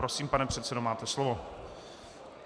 Prosím, pane předsedo, máte slovo.